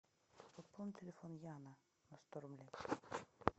пополни телефон яна на сто рублей